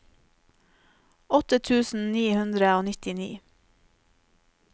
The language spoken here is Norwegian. åtti tusen ni hundre og nittini